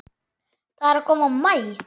Það er að koma maí.